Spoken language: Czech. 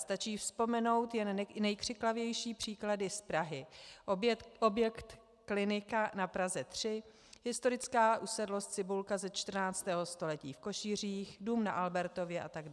Stačí vzpomenout jen nejkřiklavější příklady z Prahy - objekt Klinika na Praze 3, historická usedlost Cibulka ze 14. století v Košířích, dům na Albertově atd.